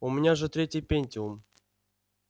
у меня же третий пентиум